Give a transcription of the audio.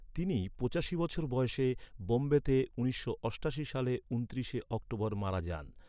তিনি পঁচাশি বছর বয়সে বোম্বেতে উনিশশো অষ্টাশি সালের ঊনত্রিশে অক্টোবর মারা যান।